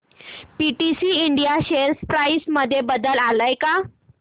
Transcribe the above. PTC India share price मध्ये बदल आलाय का